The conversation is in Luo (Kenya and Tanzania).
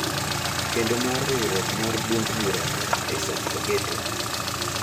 kendo mar riwruok mar duond bura mar Isaac Rageto.